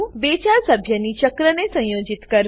બે ચાર સભ્યી ચક્રને સંયોજિત કરવું